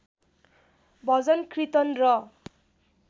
भजन किर्तन र